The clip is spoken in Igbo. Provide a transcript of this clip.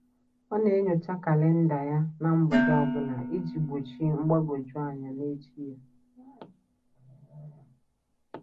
Ọ na-enyocha kalịnda ya na mgbede ọbụla iji gbochi mgbagwoju anya n'echi ya.